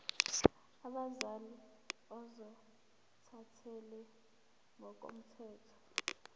abazali ozothathele ngokomthetho